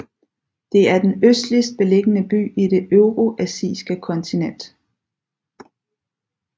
Det er den østligst beliggende by i det euroasiskekontinent